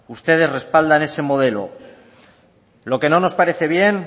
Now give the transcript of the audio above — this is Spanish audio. ustedes respaldan ese modelo lo que no nos parece bien